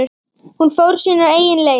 Hún fór sínar eigin leiðir.